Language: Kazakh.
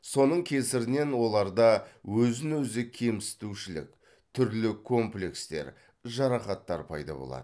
соның кесірінен оларда өзін өзі кемсітушілік түрлі комплекстер жарақаттар пайда болады